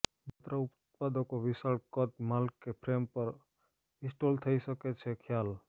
માત્ર ઉત્પાદકો વિશાળ કદ માલ કે ફ્રેમ પર ઇન્સ્ટોલ થઈ શકે છે ખ્યાલ